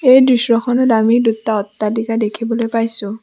এই দৃশ্যখনত আমি দুটা অট্টালিকা দেখিবলৈ পাইছোঁ।